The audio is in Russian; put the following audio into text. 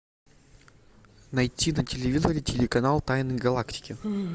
найти на телевизоре телеканал тайны галактики